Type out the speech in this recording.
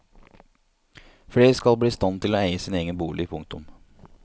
Flere skal bli i stand til å eie sin egen bolig. punktum